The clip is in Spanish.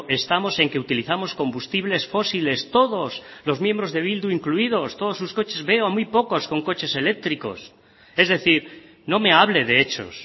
estamos en que utilizamos combustibles fósiles todos los miembros de bildu incluidos todos sus coches veo muy pocos con coches eléctricos es decir no me hable de hechos